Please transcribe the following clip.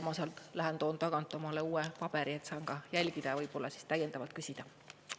Ma lähen toon tagant omale uue paberi, et saan ka jälgida ja võib-olla täiendavalt küsida.